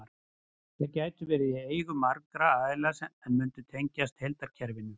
Þær gætu verið í eigu margra aðila en mundu tengjast heildarkerfinu.